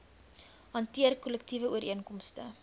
hanteer kollektiewe ooreenkomste